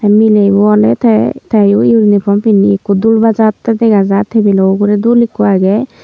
melebo ole te teyo uniform pinne ekko dul bajate degajai tebil lo uguree dul ekko aage.